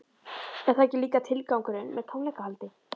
Er það ekki líka tilgangurinn með tónleikahaldi?